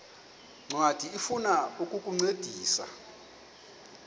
ncwadi ifuna ukukuncedisa